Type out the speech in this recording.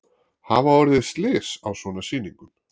Hafa orðið slys á svona sýningum?